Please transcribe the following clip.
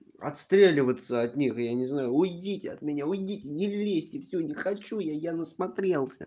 отстреливаться от них я не знаю уйдите от меня уйдите не лезьте всё не хочу я я на смотрелся